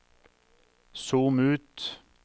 zoom ut